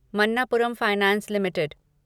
Manappuram finance limited